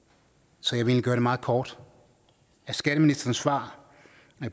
så jeg vil egentlig gøre det meget kort af skatteministerens svar